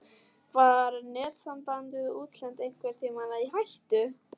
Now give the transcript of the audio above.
Var netsamband við útlönd einhvern tímann í hættu?